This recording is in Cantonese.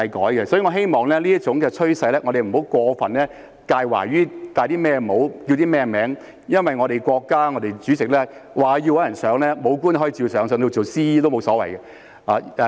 所以，我希望在這種趨勢下，我們不要過分介懷帶甚麼帽、叫甚麼稱呼，因為我們國家主席若要找人上位，武官也可以照上，甚至做 CE 也沒所謂。